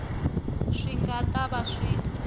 swi nga ta va swi